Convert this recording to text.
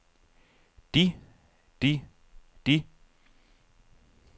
de de de